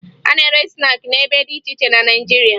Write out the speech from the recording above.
A na-ere snaakị n'ebe dị iche iche na Naịjirịa